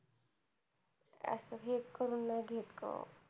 असं हे नाही करून घेत ग.